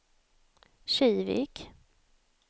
Kivik